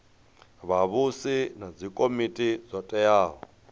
vhavhusi na dzikomiti dzo teaho